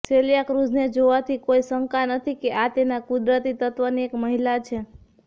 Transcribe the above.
સેલિયા ક્રુઝને જોવાથી કોઈ શંકા નથી કે આ તેના કુદરતી તત્વની એક મહિલા છે